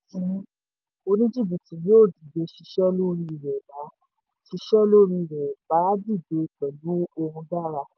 mo gbọ́dọ̀ sọ èyí fún yín oní-jìbìtì yóò dìde ṣisẹ́ lórí rẹ̀ bá lórí rẹ̀ bá dìde pẹ̀lú ohun dára.